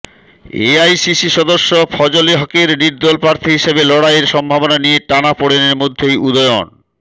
AICC সদস্য ফজলে হকের নির্দল প্রার্থী হিসেবে লড়াইয়ের সম্ভাবনা নিয়ে টানাপোড়েনের মধ্যেই উদয়ন